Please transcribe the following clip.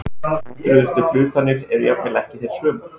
Hundruðustu hlutanir eru jafnvel ekki þeir sömu.